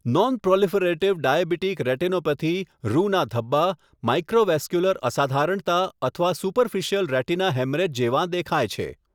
Non-proliferative diabetic retinopathy રુના ધબ્બા, microvascular અસાધારણતા અથવા સુપરફિસિયલ રેટિના હેમરેજ જેવાં દેખાય છે.